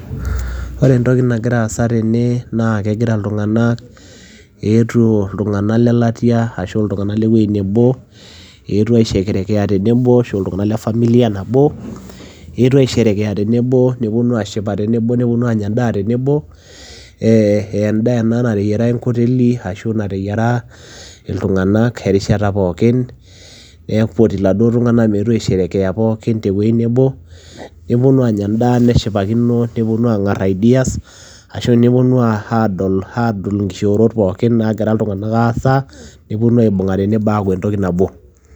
Ore entoki nagira aasa tene naa kegira iltung'anak eetuo iltung'anak le latia ashu iltung'anak le wuei nebo eetuo aisherekea tenebo ashu iltung'anak le familia nabo, eetuo aisherekea tenebo neponu aashipa tenebo, neponu aanya endaa tenebo. Ee endaa ena nateyiara enkoteli ashu nateyiara iltung'anak erishata pookin ee nipoti iladuo tung'anak meetu aisherekea pookin te wuei nebo, neponu aanya endaa neshipakino, neponu aang'ar ideas ashu neponu aadol aadol nkishoorot pokin naagira iltung'anak aasa, neponu aibung'a tenebo aaku entoki nabo.